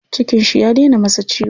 Cikin shi ya dena masa ciwo.